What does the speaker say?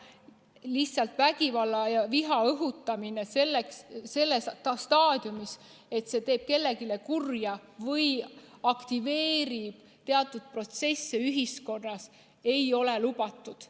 Lihtsalt vägivalla ja viha õhutamine nii, et see teeb kellelegi kurja või aktiveerib ühiskonnas teatud protsesse, ei ole lubatud.